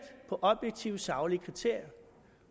på objektive og saglige kriterier